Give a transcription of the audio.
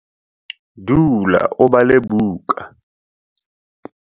dula o bale buka